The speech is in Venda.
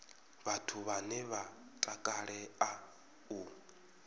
vhathu vhane vha takalea u